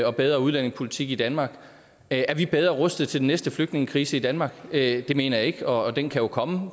og bedre udlændingepolitik i danmark er vi bedre rustet til den næste flygtningekrise i danmark det mener jeg ikke og den kan jo komme